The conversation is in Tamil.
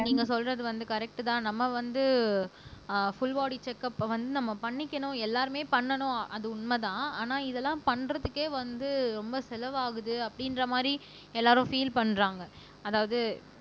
நீங்க சொல்றது வந்து கரெக்ட் தான் நம்ம வந்து ஆஹ் புல்பாடி செக் அப்ப வந்து நம்ம பண்ணிக்கணும் எல்லாருமே பண்ணணும் அது உண்மைதான் ஆனா இதெல்லாம் பண்றதுக்கே வந்து ரொம்ப செலவாகுது அப்படின்ற மாரி எல்லாரும் பீல் பண்றாங்க அதாவது